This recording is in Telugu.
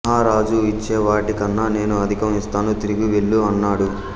మహారాజు ఇచ్చేవాటికన్నా నేను అధికం ఇస్తాను తిరిగి వెళ్ళు అన్నాడు